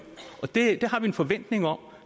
og det har vi en forventning om